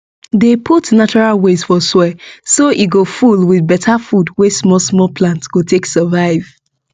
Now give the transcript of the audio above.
dey put natural waste for soil so e go full with beta food wey small small plant go take survive